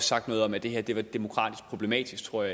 sagt noget om at det her var demokratisk problematisk tror